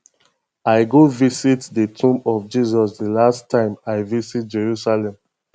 i go visit the tomb of jesus the last time i visit jerusalem